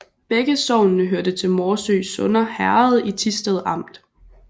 Begge sogne hørte til Morsø Sønder Herred i Thisted Amt